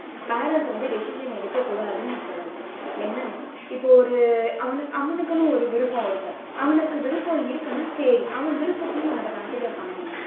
parents வந்து decision எடுக்க கூடாதுன்னு நான் சொல்லல. என்னன்னா இப்போ ஒரு அவனுக்கு அவனுக்குன்னு ஒரு விருப்பம் இருக்கும். அவனுக்கு விருப்பம் இருக்குன்னா சரி அவன் விருப்பத்தையும் நம்ம consider பண்ணனும்.